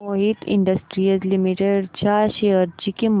Mohit industries limited च्या share ची किंमत